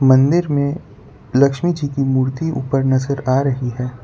मंदिर में लक्ष्मी जी की मूर्ति ऊपर नजर आ रही है।